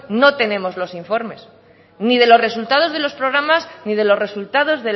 no tenemos los informes ni de los resultados de los programas ni de los resultados